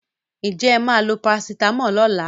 Will you take paracetamol tomorrow?